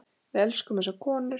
Við elskum þessar konur.